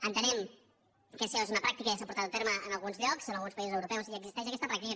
entenem que això és una pràctica i que ja s’ha portat a terme en alguns llocs en alguns països europeus ja existeix aquesta pràctica